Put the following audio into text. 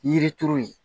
Yiri turu yen